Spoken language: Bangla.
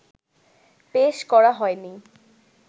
পেশ করা হয়নি